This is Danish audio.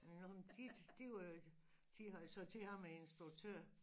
Jo men de de øh de havde sagt til ham æ instruktør